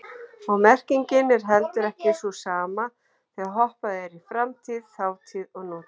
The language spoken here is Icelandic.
Og merkingin er heldur ekki sú sama þegar hoppað er í framtíð, þátíð og nútíð.